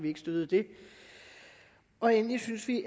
ikke støttede det og endelig synes vi